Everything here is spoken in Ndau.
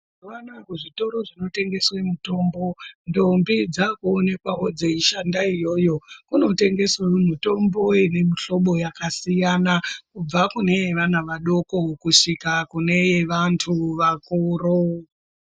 Mazuva anaya ku zvitoro zvino tengeswe mutombo ndombi dzaku onekwawo dzei shanda iyoyo kuno tengesawo mutombo ine mu hlobo yakasiyana kubva kune ye vana vadoko kusvika kune ye vantu vakuru.